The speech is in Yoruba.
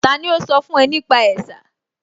Tani ó sọ fún ẹ nípa ẹ̀sà?